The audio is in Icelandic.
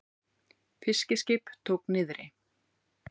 Fiskiskip tók niðri